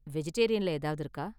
வெஜிடேரியன்ல ஏதாவது இருக்கா?